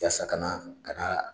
Yasa ka na ka na